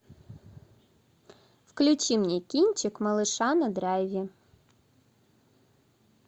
включи мне кинчик малыша на драйве